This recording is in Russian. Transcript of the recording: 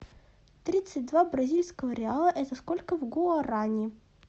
тридцать два бразильского реала это сколько в гуарани